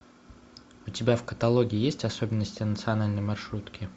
у тебя в каталоге есть особенности национальной маршрутки